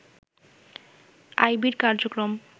আইবির কার্যক্রম